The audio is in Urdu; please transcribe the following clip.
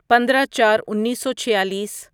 پندرہ چار انیسو چھیالیس